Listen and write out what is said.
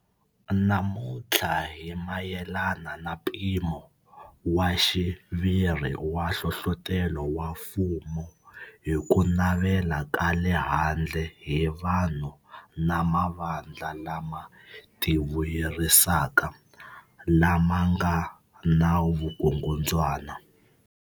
Namuntlha hi mayelana na mpimo wa xiviri wa nhlohlotelo wa mfumo hi ku navela ka le handle hi vanhu na mavandla lama tivuyerisaka, lama nga na vukungundzwana.